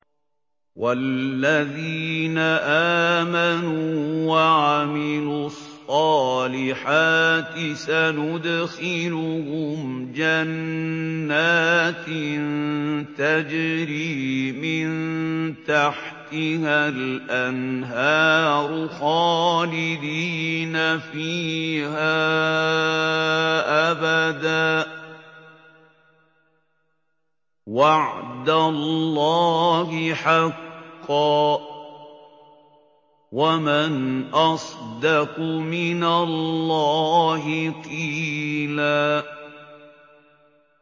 وَالَّذِينَ آمَنُوا وَعَمِلُوا الصَّالِحَاتِ سَنُدْخِلُهُمْ جَنَّاتٍ تَجْرِي مِن تَحْتِهَا الْأَنْهَارُ خَالِدِينَ فِيهَا أَبَدًا ۖ وَعْدَ اللَّهِ حَقًّا ۚ وَمَنْ أَصْدَقُ مِنَ اللَّهِ قِيلًا